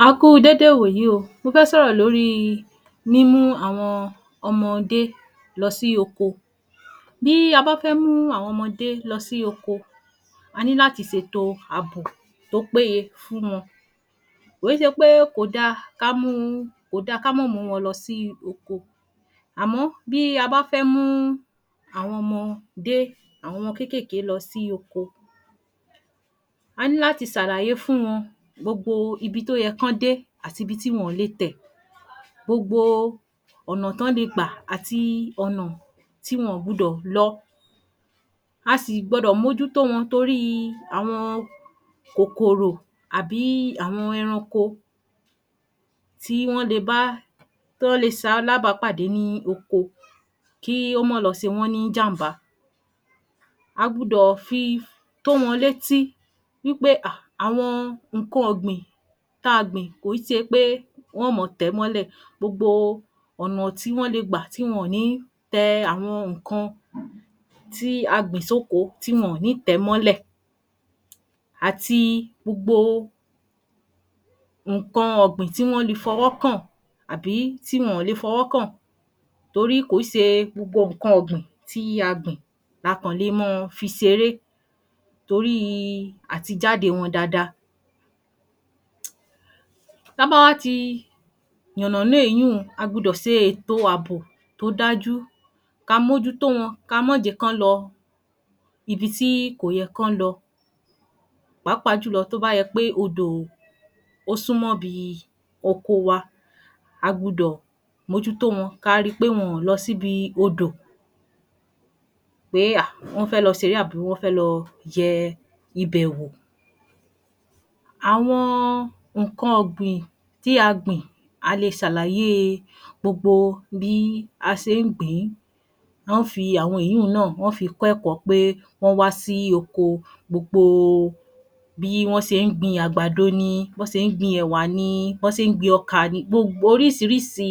A Kú u dédé ìwòyí o mọ fẹ́ sọ̀rọ̀ lórí mú mú àwọn ọmọdé lọsí oko. Bí a bá fẹ́ mú àwọn ọmọdé lọsí oko, a ní láti ṣètò àbò tó péye fún wọn. Kò í ṣepé kóda ká a múu, Kóda ká mọ mù wọn lọsí Oko, àmọ bí a bá fẹ́ mú àwọn ọmọdé àwọn ọmọ kékèké lọsí Oko, a ní láti ṣàlàyé fún wọn gbogbo ibi tó yẹ kán dé àtibi tí wọn le tẹ̀. Gbogbo ọ̀nà tón le gbà àtii ọ́nà tí wọn gbudọ̀ lọ. A sì gbọdọ̀ mójú tó wọn torí àwọn kòkòrò àbí àwọn Ẹranko tí wọ́n le bá Tón le ṣalábá pàdé ní oko kí ò mọ́ lọ ṣe wọ́n ní ìjàmbá, a gbudọ̀ fi tó wọn létí wípé um àwọn ǹkan ògbìn tá a gbìn kò ó ṣepé wọ́n mọ tẹẹ̀ mọlé, gbogbo ọ̀nà tí wọ́n le gbà tí wọ̀n ní tẹ àwọn ǹkan tí a gbìn sokò tí wọ́n ní tẹ mọlẹ́, àti gbogbo ǹkan ọ̀gbìn tíí wọ́n le fọwọ́ kàn àbí tí wọn le fọwọ́ kàn, torí kò se gbogbo ǹkan ọ̀gbìn tí a gbìn laa kàn le mọ fi ṣeré toríi àti jáde wọn dada. Ta bá wá ti yànnànà eéyun, a gbudọ̀ ṣètò àbò tó dájú, ka mójú tó wọn, ka mọ́ jẹ́kàn lọ ibi tí ko yẹ kán lọ. Pápá tó bá yẹpé òdò ó súnmọ́ bi oko wa,a gbudọ̀ mójú tó wọn, ká rí pé wọn lọsi ibi òdò pé um wọ́n fẹ́ lọ ṣeré àbí wọn fẹ́ lọ yẹ ibẹ̀ wò. Àwọn ǹkan ọ̀gbìn tí a gbìn a le sàlàyé gbogbo bí a ṣe ń gbìn. Wọ́n fi àwọn ìyun náà wọ́n fi kẹkọ́ọ pé wọn wa sí oko, gbogbo bí wọ́n ṣe ń gbìn àgbàdo, níi bó n ṣe gbìn ẹ̀wà ni, ni bó n ṣe ń gbìn ọ̀kà ni. Oríṣiríṣi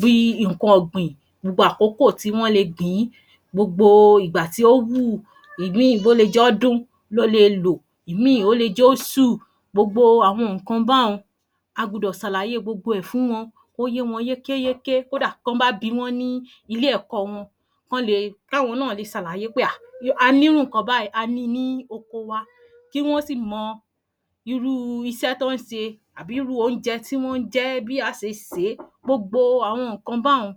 bí ǹkan ọ̀gbìn, gbogbo àkókò tí wọ́n le gbìn, gbogbo ìgbà tí yóo wù, ìmí wọn le jọ́dún lóle lò, ìmí ó le jẹ́ òṣù. Gbogbo àwọn ǹkan bá n, a gbùdọ̀ sàlàyé ẹ̀ fún wọn, kó yé wọn yékéyéké, kódà bó bá bi wọ́n ní ilé ẹ̀kọ́ wọn, kán le, kawon náà le sàlàyé pé um, a ní irú ǹkan bayii, a ni ní Oko wa. Kí wọ́n si mọ irú iṣẹ́ tí wọ́n ṣe àbí irú oúnjẹ tí wọ́n jẹ́, bí a ṣe sè. Gbogbo ǹkan bá n,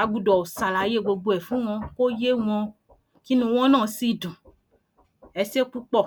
á gbùdọ̀ sàlàyé gbogbo ẹ̀ fún wọn, Kó yé wọn, kinu wọn náà sí dùn, eṣé púpò.